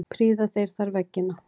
Prýða þeir þar veggina.